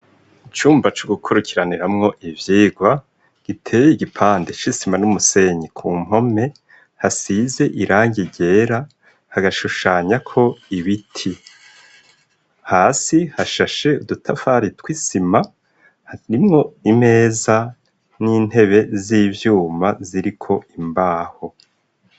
Icumba co gukurikiraniramwo ivyigwa giteye igipande c' isima n'umusenyi ku mpome, hasize irangi ryera hagashushanyako ibiti, hasi hashashe udutafari tw'isima harimwo imeza n'intebe z'ivyuma ziriko imbaho.